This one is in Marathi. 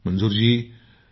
मंजूर जी जी सर।